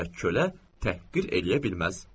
və kölə təhqir eləyə bilməz.